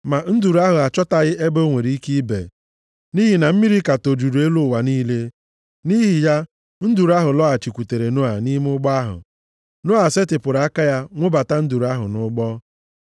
ma nduru ahụ achọtaghị ebe o nwere ike ibe, nʼihi na mmiri ka tojuru elu ụwa niile. Nʼihi ya, nduru ahụ lọghachikwutere Noa nʼime ụgbọ ahụ. Noa setịpụrụ aka ya nwụbata nduru ahụ nʼụgbọ.